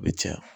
A bɛ caya